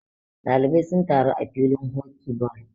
ɗalibai sun taru a filin hoki ball